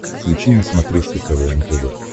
включи на смотрешке квн тв